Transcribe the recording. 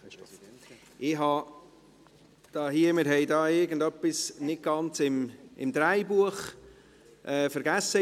Wir haben hier etwas ins Drehbuch einzufügen vergessen.